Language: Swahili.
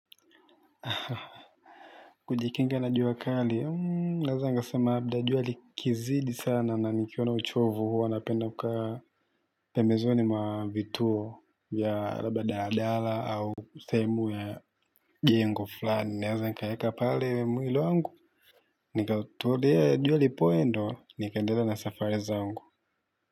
Kujikinga na jua kali, naeza nikasema labda jua likizidi sana na nikiwa na uchovu huu napenda kukaa pembezoni mwa vituo vya labda dadala au sehemu ya jengo fulani, naeza nikaeka pale mwili wangu, nikatulia jua lipoe ndio nikaendelea na safari zangu.